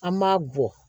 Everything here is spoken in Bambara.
An m'a bɔ